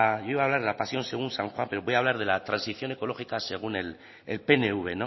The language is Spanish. iba a hablar de la pasión según san juan pero voy a hablar de la transición ecológica según el pnv